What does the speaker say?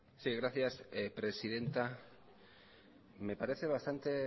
sí gracias presidenta me parece bastante